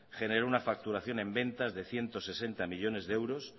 generó una facturación en ventas de ciento sesenta millónes de euros